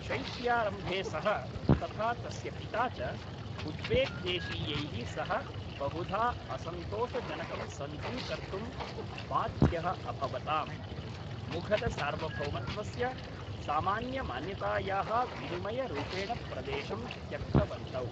शैत्यारम्भे सः तथा तस्य पिता च उज्बेक् देशीयैः सह बहुधा असन्तोषजनकं सन्धिं कर्तुं बाध्यः अभवताम्, मुघलसार्वभौमत्वस्य सामान्यमान्यतायाः विनिमयरूपेण प्रदेशं त्यक्तवन्तौ।